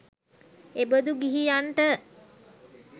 එබඳු ගිහියන්ට